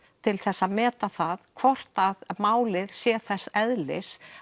til þess að meta það hvort að málið sé þess eðlis